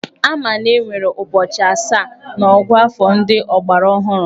Ama na enwere ụbọchị asaa n'ọ̀gụ́àfọ̀ ndị ọgbaraọhụrụ.